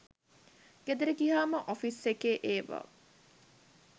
ගෙදර ගියාම ඔෆිස් එකේ ඒවා